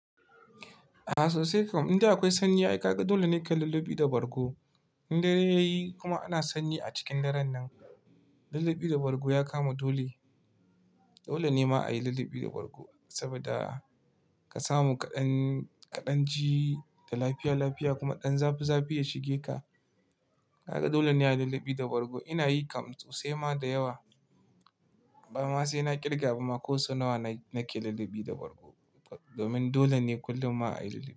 Aa sosai kam, in da akwai sanyi ai kaga dole ne ka yi lullubi da bargo. Inda dare yayi kuma ana sanyi a cikin daren nan lullubi da bargo ya kama dole. Dole ne ma a yi lullubi da bargo saboda ka samu kaɗan ji da lafiya lafiya kuma ɗan zafi zafi ya shige ka. Kaga dole ne a yi lallabi da bargo. Ina yi kam sose ma da yawa. Ba ma sai na ƙirga ba ma, ko sau nawa ne na ke lallabi da bargo domin dole ne kullum ma a yi lallabi.